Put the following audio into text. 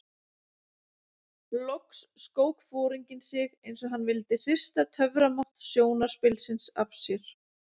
Loks skók foringinn sig eins og hann vildi hrista töframátt sjónarspilsins af sér.